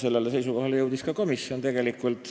Sellele seisukohale jõudis ka komisjon.